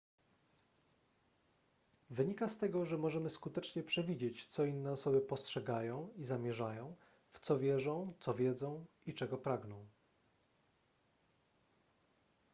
wynika z tego że możemy skutecznie przewidzieć co inne osoby postrzegają i zamierzają w co wierzą co wiedzą i czego pragną